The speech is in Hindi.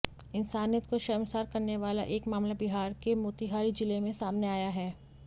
इंसानियत को शर्मसार करने वाला एक मामला बिहार के मोतिहारी जिले में सामने आया है